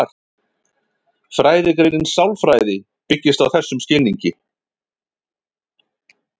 Fræðigreinin sálfræði byggist á þessum skilningi.